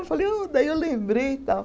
Eu falei ô, daí eu lembrei e tal.